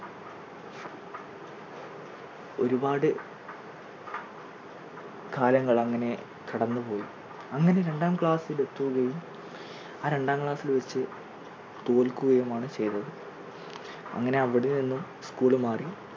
ഒരുപാട് കാലങ്ങൾ അങ്ങനെ കടന്നുപോയി അങ്ങനെ രണ്ടാം class ൽ എത്തുകയും ആ രണ്ടാം class ൽ വച്ച് തോൽക്കുകയും ആണ് ചെയ്തത്. അങ്ങനെ അവിടെ നിന്നും school മാറി